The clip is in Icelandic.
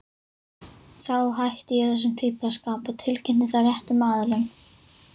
Þá hætti ég þessum fíflaskap og tilkynnti það réttum aðilum.